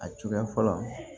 A cogoya fɔlɔ